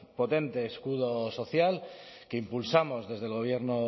potente escudo social que impulsamos desde el gobierno